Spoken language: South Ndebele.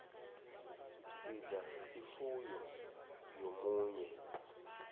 sidla ifuyo yomunye